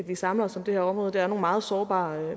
vi samler os om det her område det er nogle meget sårbare